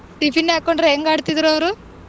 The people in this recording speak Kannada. Tiffin ಹಾಕೊಂಡ್ರೆ ಎಂಗಾಡ್ತ್ರಿದ್ರು ಅವ್ರು.